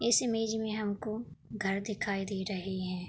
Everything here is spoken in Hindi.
इस इमेज में हमको घर दिखाई दे रहे हैं।